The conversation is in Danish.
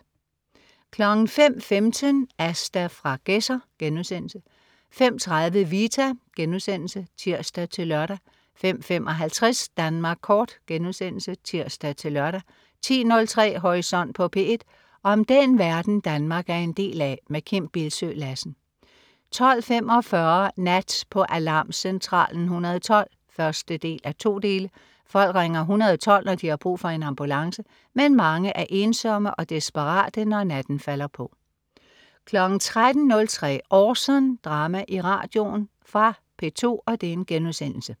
05.15 Asta fra Gedser* 05.30 Vita* (tirs-lør) 05.55 Danmark Kort* (tirs-lør) 10.03 Horisont på P1. Om den verden, Danmark er en del af. Kim Bildsøe Lassen 12.45 Nat på Alarmcentralen 112 1:2. Folk ringer 112, når de har brug for en ambulance. Men mange er ensomme og desperate, når natten falder på 13.03 Orson. Drama i radioen. Fra P2*